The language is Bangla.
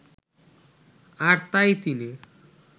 আর তাই তিনি